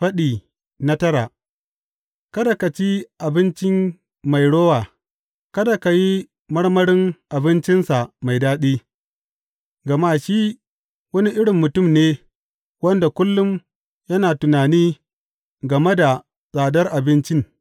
Faɗi tara Kada ka ci abincin mai rowa, kada ka yi marmarin abincinsa mai daɗi; gama shi wani irin mutum ne wanda kullum yana tunani game da tsadar abincin.